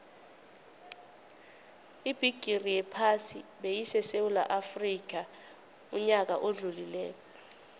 ibigixi yephasi beyisesewula afxica uyaka odlulile